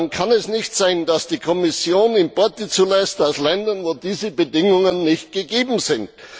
Dann darf es nicht sein, dass die Kommission Importe aus Ländern zulässt, wo diese Bedingungen nicht gegeben sind.